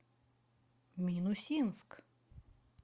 минусинск